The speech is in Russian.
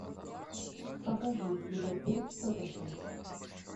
покажи ливерпуль тоттенхэм